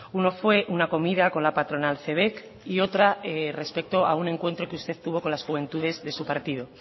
uno fue una comida con la patronal cebek y otra respecto a un encuentro que usted tuvo con las juventudes de su partido